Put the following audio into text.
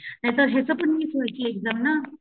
ह्याच ह्याची पण मिस होयची एक्साम ना.